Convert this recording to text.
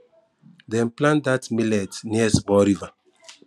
dem plant dat millet near river